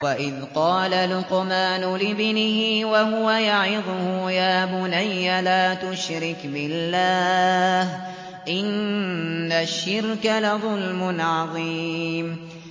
وَإِذْ قَالَ لُقْمَانُ لِابْنِهِ وَهُوَ يَعِظُهُ يَا بُنَيَّ لَا تُشْرِكْ بِاللَّهِ ۖ إِنَّ الشِّرْكَ لَظُلْمٌ عَظِيمٌ